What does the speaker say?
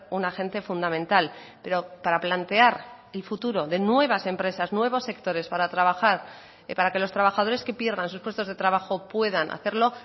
un agente fundamental pero para plantear el futuro de nuevas empresas nuevos sectores para trabajar y para que los trabajadores que pierdan sus puestos de trabajo puedan hacerlo